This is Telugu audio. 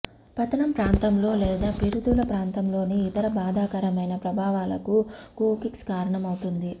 పతనం ప్రాంతంలో లేదా పిరుదుల ప్రాంతంలోని ఇతర బాధాకరమైన ప్రభావాలకు కోకిక్స్ కారణమవుతుంది